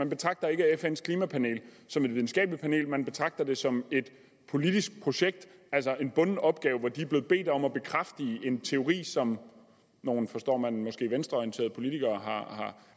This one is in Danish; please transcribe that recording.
betragter fns klimapanel som et videnskabeligt panel man betragter det som et politisk projekt altså en bunden opgave hvor de er blevet bedt om at bekræfte en teori som nogle forstår man måske venstreorienterede politikere